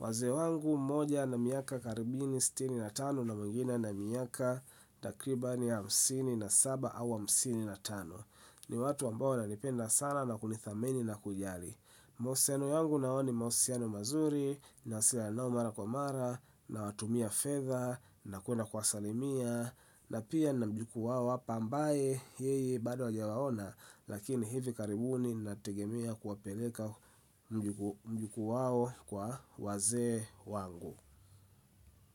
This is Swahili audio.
Wazee wangu mmoja ana miaka karibu sitini na tano na mwingine ana miaka takribani hamsini na saba au hamsini na tano. Ni watu ambao wananipenda sana na kunidhamini na kujali. Mahusiano yangu nao ni mahusiano mazuri nawasiliana nao mara kwa mara nawatumia fedha na kwenda kuwasalimia na pia nina mjuku wao hapa ambaye yeye bado hajawaona lakini hivi karibuni ninategemea kuwapeleka. Mjukuu wao kwa wazee wangu.